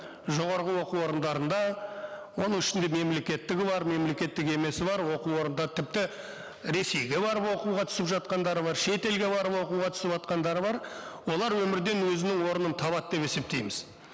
жоғарғы оқу орындарында оның ішінде мемлекеттігі бар мемлекеттік емесі бар оқу орындар тіпті ресейге барып оқуға түсіп жатқандары бар шетелге барып оқуға түсіватқандары бар олар өмірден өзінің орнын табады деп есептейміз